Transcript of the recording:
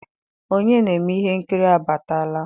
onye na-eme ihe nkiri abatala?